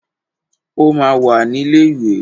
O máa wà ní ilé ìwé.